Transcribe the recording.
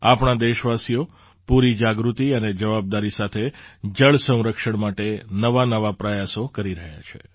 આપણા દેશવાસીઓ પૂરી જાગૃતિ અને જવાબદારી સાથે જળ સંરક્ષણ માટે નવાનવા પ્રયાસો કરી રહ્યા છે